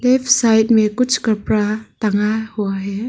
Left side में कुछ कपड़ा टंगा हुआ है।